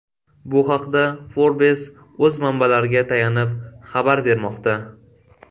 Bu haqda Forbes o‘z manbalariga tayanib xabar bermoqda .